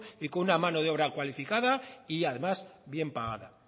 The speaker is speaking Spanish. y con una mano de obra cualificada y además bien pagada